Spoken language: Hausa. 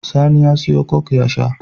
Sani ya siya coke ya sha